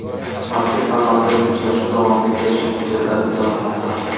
mazkur formatdagi uchrashuv davomida kelishuv hujjatlari imzolanmoqda.